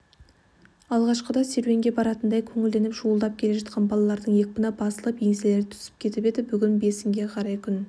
алғашқыда серуенге баратындай көңілденіп шуылдап келе жатқан балалардың екпіні басылып еңселері түсіп кетіп еді бүгін бесінге қарай күн